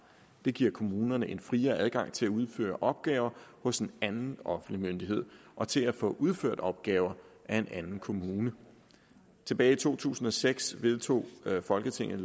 det giver kommunerne en friere adgang til at udføre opgaver hos en anden offentlig myndighed og til at få udført opgaver af en anden kommune tilbage i to tusind og seks vedtog folketinget